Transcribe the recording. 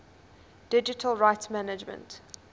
digital rights management